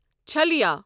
چھلیا